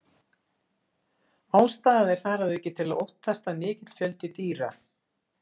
Ástæða er þar að auki til að óttast að mikill fjöldi dýra.